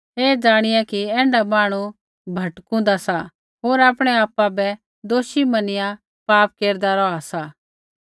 ऐ ज़ाणिया कि ऐण्ढा मांहणु भटकुन्दा सा होर आपणै आपा बै दोषी मनिया पाप केरदा रौहा सा